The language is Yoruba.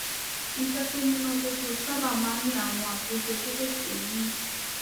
iṣé tó múnádóko sábà máa ń ní àwọn àtúnṣe kéékèèké nínú